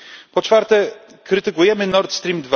Po czwarte, krytykujemy Nord Stream.